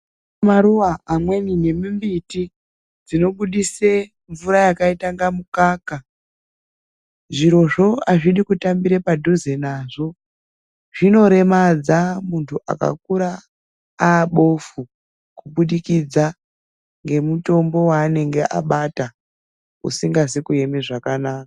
Kune maruwa amweni emumbiti dzinobudise mvura yakaite kunge mukaka, zvirozvo azvidi kutambira padhuze nazvo, zvinoremadza muntu akakura abofu kubudikidza ngemutombo weanenge abata usingazi kueme zvakanaka.